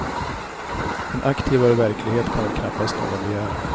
En aktivare verklighet kan väl knappast någon begära.